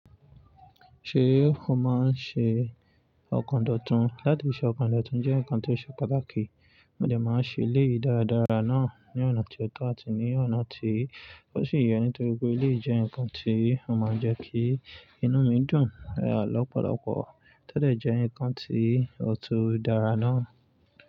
Ṣé o máa ń ṣe òkandọ̀tún? Látìṣẹ́ ọkọ̀ndọ̀tún jẹ́ nǹkan tó ṣe pàtàkì, mo dẹ̀ máa ń ṣẹ́ eléyìí dáradára náà ní ọ̀nà tí ó tọ̀ àti ní ọ̀nà tí ò sì yẹ ní torí pé eléyìí jẹ́ nǹkan tí ó máa ń jẹ́ kí inú mi dùn lọ́pọ̀lọpọ̀ tọ dẹ̀ jẹ́ nǹkan tí ó tún dára náà.